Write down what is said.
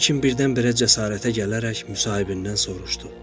Lakin birdən-birə cəsarətə gələrək müsahibindən soruşdu.